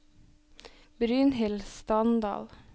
Brynhild Standal